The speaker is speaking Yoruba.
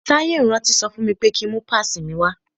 Táyé ò rántí sọ fún mi pé ki ń mú pásìì mi wá.